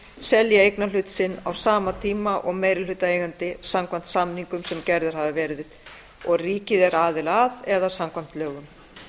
selji eignarhlut sinn á sama tíma og meirihlutaeigandi samkvæmt samningum sem gerðir hafa verið og ríkið er aðili að eða samkvæmt lögum